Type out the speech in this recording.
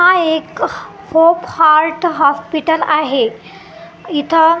हा एक Hope Heart hospital आहे इथं--